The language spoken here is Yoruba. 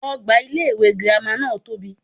Ogbà ilé iwé girama náà tóbi